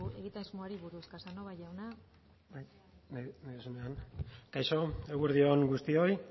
egitasmoari buruz casanova jauna kaixo eguerdi on guztioi